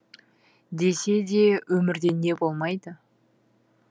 десе де өмірде не болмайды